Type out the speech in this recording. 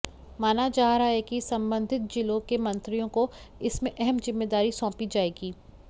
माना जा रहा है कि संबंधित जिलों के मंत्रियों को इसमें अहम जिम्मेदारी सौंपी जाएगी